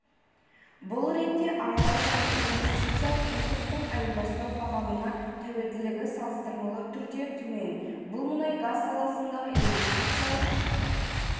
бұл ретте аралық және инвестициялық импорттың айырбастау бағамына тәуелділігі салыстырмалы түрде төмен бұл мұнай-газ саласындағы инвестициялық